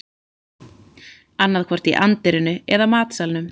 Annaðhvort í anddyrinu eða matsalnum